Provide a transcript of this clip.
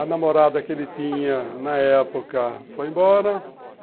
A namorada que ele tinha na época foi embora.